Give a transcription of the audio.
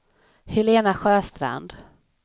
Helena Sjöstrand